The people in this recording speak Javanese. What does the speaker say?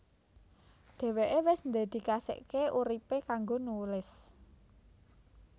Dheweke wis ndedikasikake uripe kanggo nulis